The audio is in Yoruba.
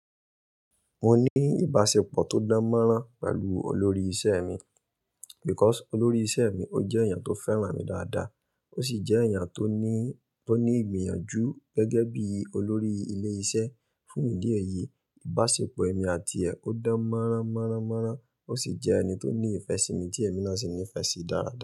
Mo ní ìbáṣepọ̀ tó dán mọ́rán pẹ̀lú olórí iṣẹ́ mi because olórí iṣẹ́ mi ó jẹ́ èèyàn tó fẹ́ràn mi dáadáa, ó sì jẹ́ èèyàn tó ní, tó ní ìgbìyànjú gẹ́gẹ́ bí olórí ilé iṣẹ́ fún idí ẹ̀ yìí, Ìbáṣepọ̀ èmi àti ẹ̀ ò dán mọ́rán mọ́rán mọ́rán, ó sì jẹ́ ẹni tó ní ìfẹ́ sí mi tí èmi náà sì nífẹ̀ẹ́ sí dáadáa.